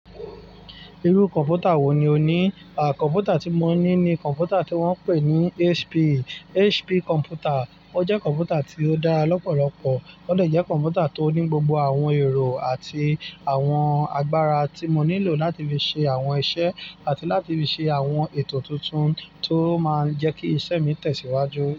Irú kọ̀npútà wò ní o ní? À, kọ̀npútà tí mo ní ni kọ̀npútà tí wón ń pè ní HP, HP kọ̀npútà. Ó jẹ́ kọ̀npútà tí ó dára lọ́pọ̀lọpọ̀, ó de jẹ́ kọ̀npútà tó ní gbogbo àwọn ẹ̀rọ àti àwọn agbára tí mo nílò láti fi ṣe àwọn iṣẹ́ àti láti fi ṣe àwọn ètò tuntun tó máa ń jẹ́ kí iṣẹ́ mi tẹ̀síwájú.